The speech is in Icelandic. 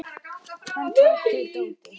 Hann tók til dótið.